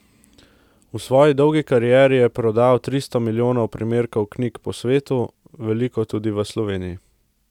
V svoji dolgi karieri je prodal tristo milijonov primerkov knjig po svetu, veliko tudi v Sloveniji.